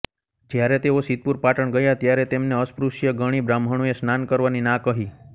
જ્યારે તેઓ સિદ્ધપુર પાટણ ગયા ત્યારે તેમને અસ્પૃશ્ય ગણી બ્રાહ્મણોએ સ્નાન કરવાની ના કહી